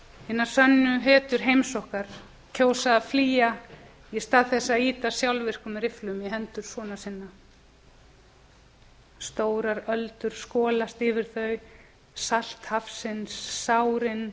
hinar sönnu hetjur heims okkar kjósa að frá á ja í stað þess að á á á sjálfvirkum rifflum í hendur sona sinna tvö stórar öldur skolast yfir þau salt hafsins sárin